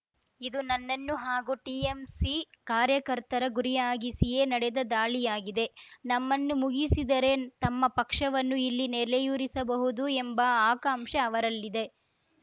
ಇದು ನನ್ನನ್ನು ಹಾಗೂ ಟಿಎಂಸಿ ಕಾರ್ಯಕರ್ತರ ಗುರಿಯಾಗಿಸಿಯೇ ನಡೆದ ದಾಳಿಯಾಗಿದೆ ನಮ್ಮನ್ನು ಮುಗಿಸಿದರೆ ತಮ್ಮ ಪಕ್ಷವನ್ನು ಇಲ್ಲಿ ನೆಲೆಯೂರಿಸಬಹುದು ಎಂಬ ಆಕಾಂಕ್ಷೆ ಅವರಲ್ಲಿದೆ